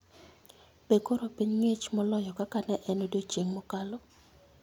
Be koro piny ng'ich moloyo kaka ne en odiechieng ' mokalo?